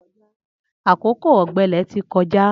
Akókó ọgbẹlẹ ti kọjá